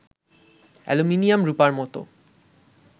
aluminium রূপার মত